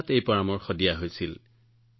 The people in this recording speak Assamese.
সেইটো কৰোঁতে আমি ৰাতি ৮ বজাত পৰামৰ্শ লৈছিলো